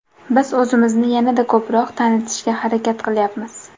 Biz o‘zimizni yanada ko‘proq tanitishga harakat qilyapmiz.